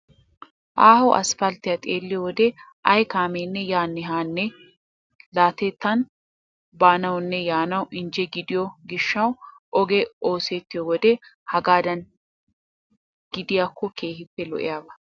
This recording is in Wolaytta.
Aaho aspalttiya xeelliyo wode ay kaameenne yaanne haanne la'atettan baanawunne yaanawu injje gidiyo gishshawu ogee oosettiyo wode hagaadan gidiyakko keehippe lo"iyaba.